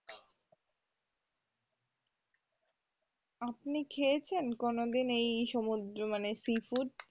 আপনি খেয়েছেন কোনোদিন মানে এই সমুদ্র মানে sea food